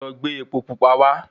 Lọ gbé epo Pupa wá